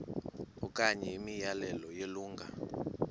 okanye imiyalelo yelungu